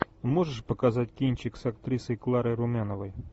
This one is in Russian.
можешь показать кинчик с актрисой кларой румяновой